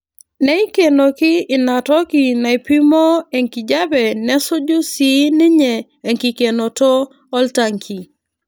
Neikenoki ina toki naaipimoo enkijape nesuju sii ninye enkikenoto oltanki.